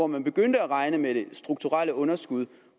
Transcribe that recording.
man begyndte at regne med det strukturelle underskud